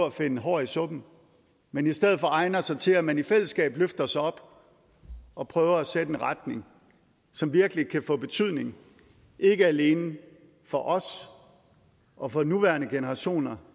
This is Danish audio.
at finde hår i suppen men i stedet for egner sig til at man i fællesskab løfter sig op og prøver at sætte en retning som virkelig kan få betydning ikke alene for os og for nuværende generationer